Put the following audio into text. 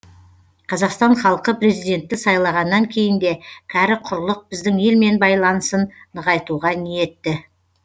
қазақстан халқы президентті сайлағаннан кейін де кәрі құрлық біздің елмен байланысын нығайтуға ниетті